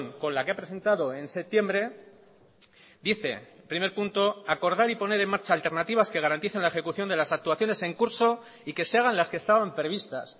con la que ha presentado en septiembre dice primer punto acordar y poner en marcha alternativas que garanticen la ejecución de las actuaciones en curso y que se hagan las que estaban previstas